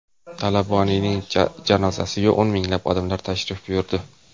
Talaboniyning janozasiga o‘n minglab odam tashrif buyurdi.